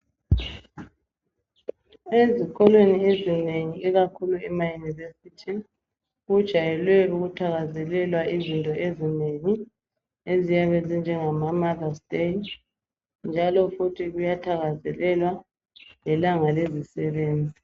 Ezikolweni ezinengi ikakhulu emaYunivesithi kujayelwe ukuthakazelelwa izinto ezinengi eziyabe zinjengama mother's day njalo futhi kuyathakazelelwa lelanga lelanga lezisebenzi.